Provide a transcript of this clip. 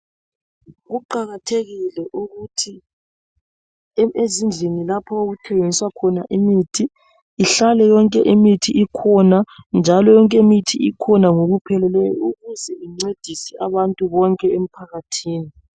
Kuqakathekile ukuthi ezindlini lapho okuthengiswa khona imithi .Ihlale yonke imithi ikhona njalo yonke imithi ikhona ngokupheleleyo ukuze incedise abantu bonke emphakathini.